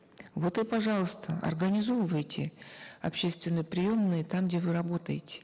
вот и пожалуйста организовывайте общественные приемные там где вы работаете